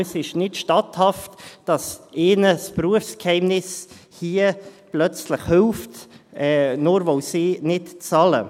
Es ist nicht statthaft, dass ihnen das Berufsgeheimnis hier plötzlich hilft, nur weil sie nicht bezahlen.